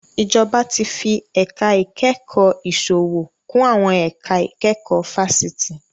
Ìjọba tí fi ẹ̀ka ìkẹ́kọ̀ọ́ ìsòwò kún àwọn ẹ̀ka ìkẹ́kọ̀ọ́ fáṣítì